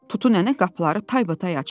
Tutu nənə qapıları taybatay açdı.